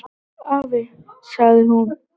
"""Afi, sagði hún."""